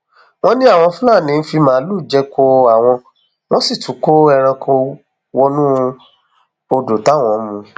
wọn ní àwọn fúlàní ń fi màálùú jẹko àwọn wọn sì tún ń kó ẹranko wọnú odò táwọn ń mu